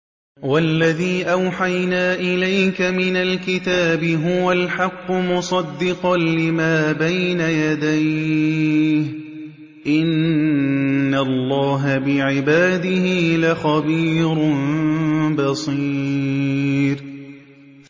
وَالَّذِي أَوْحَيْنَا إِلَيْكَ مِنَ الْكِتَابِ هُوَ الْحَقُّ مُصَدِّقًا لِّمَا بَيْنَ يَدَيْهِ ۗ إِنَّ اللَّهَ بِعِبَادِهِ لَخَبِيرٌ بَصِيرٌ